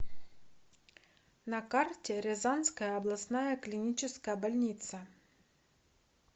на карте рязанская областная клиническая больница